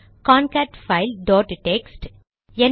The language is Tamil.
concatfile dot text